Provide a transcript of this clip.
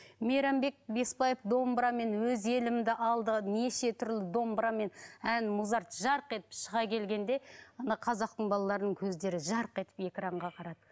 мейрамбек беспаев домбырамен өз елімді алды неше түрлі домбырамен ән мұзарт жарқ етіп шыға келгенде ана қазақтың балаларының көздері жарқ етіп экранға қарады